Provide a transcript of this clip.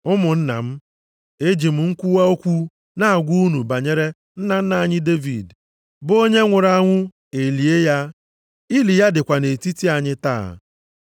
“Ụmụnna m, eji m nkwuwa okwu na-agwa unu banyere nna nna anyị Devid, bụ onye nwụrụ anwụ e lie ya. Ili ya dịkwa nʼetiti anyị taa.